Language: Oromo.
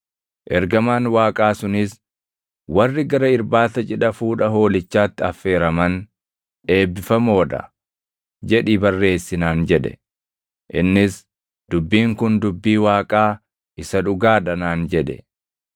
Ergamaan Waaqaa sunis, “ ‘Warri gara irbaata cidha fuudha Hoolichaatti affeeraman eebbifamoo dha!’ jedhii barreessi” naan jedhe; innis, “Dubbiin kun dubbii Waaqaa isa dhugaa dha” naan jedhe.